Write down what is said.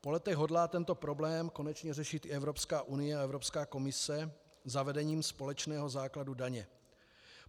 Po letech hodlá tento problém konečně řešit i Evropská unie a Evropská komise zavedením společného základu daně.